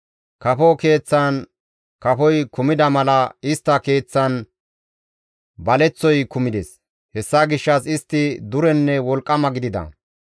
Kafo keeththan kafoy kumida mala istta keeththan baleththoy kumides. Hessa gishshas istti durenne wolqqama gidida.